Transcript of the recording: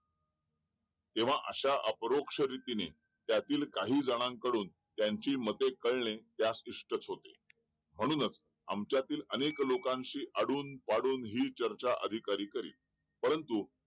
जेव्हा असा अपरोक्ष रिद्धी नेत्यातील काही जनान कडून त्यांची मते कळणे त्यास विष्ट्स होते म्हणूनच आमच्यातील अनेक लोकांशी अडून-वाढून ही चर्चा अधिकारी करी परंतु